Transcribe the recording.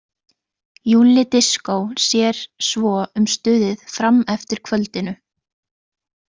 Júlli Diskó sér svo um stuðið fram eftir kvöldinu.